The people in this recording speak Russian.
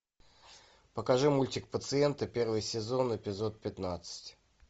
покажи мультик пациенты первый сезон эпизод пятнадцать